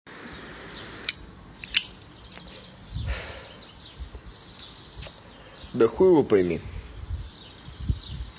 да хуего пойми